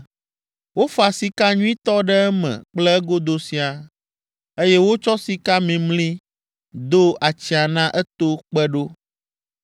Wofa sika nyuitɔ ɖe eme kple egodo siaa, eye wotsɔ sika mimli do atsiã na eto kpe ɖo.